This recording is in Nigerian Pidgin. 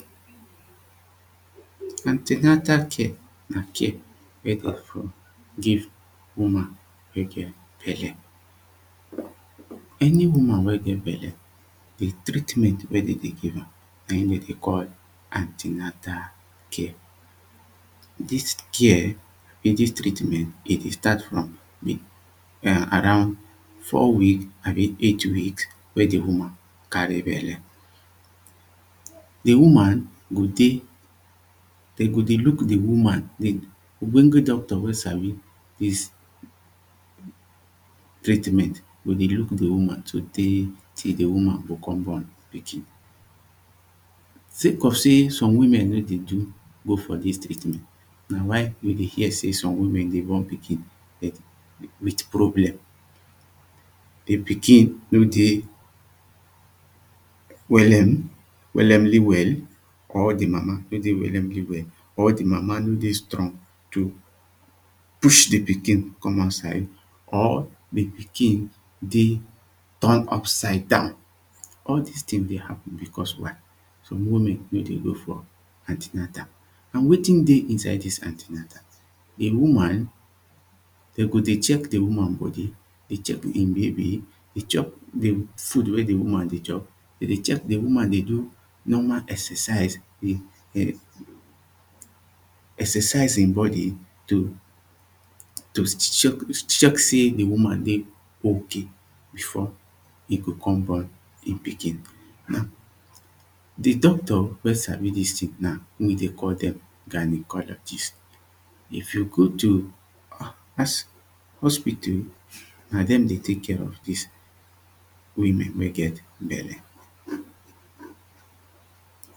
Anti-natal care na care wen dem for give woman wen get belle. Any woman wen get belle, di treatment wen dem dey give am na im dem dey call anti-natal care. Dis care dis treatment e dey start for around four week abi eight week wen di woman carry belle. Di woman go dey, dem go dey look di woman, di ogbonge doctor wen sabi dis treatment, go dey look di woman today till di woman go come born pikin, sake of sey some women no dey do dey go for dis treatment ,na why we dey hear sey some women dey born pikin but with problem. di pikin no dey, wellem, wellemly well or di mama no de wellemly well or di mama no dey strong to push di pikin come out side, or di pikin, dey turn upside down, all dis thing dey happen because why? some women no de go for anti-natal. And wetin dey inside dis anti-natal, di woman dem go dey check di woman body, dey check di baby, dey check di food wen di woman dey chop, dey check di woman dey do normal exercise, exercise im body, to check check sey di woman dey okay, before e go come born di pikin. Now di doctor wen sabi dis tin now dem dey call dem gynaecologist if you go to hos hos hospital, na dem dey take care of dis women wey get belle.